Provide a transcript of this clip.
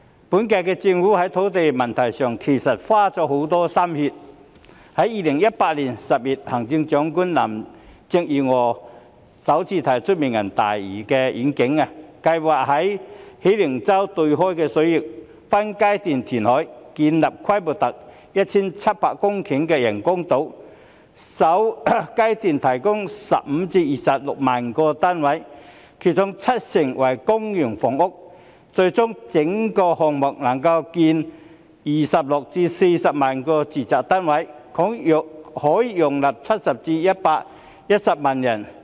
本屆政府在土地問題上花了很多心血，在2018年10月，行政長官林鄭月娥首次提出"明日大嶼願景"，計劃在喜靈洲對出的水域分階段填海，建立規模達 1,700 公頃的人工島，首階段提供15萬至26萬個單位，其中七成為公營房屋，最終整個項目能夠興建26萬至40萬個住宅單位，可容納70萬至110萬人。